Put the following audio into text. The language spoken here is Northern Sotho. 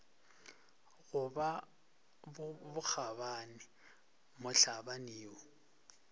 go ba bokgabani mohlabani yo